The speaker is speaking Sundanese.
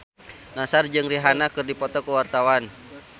Nassar jeung Rihanna keur dipoto ku wartawan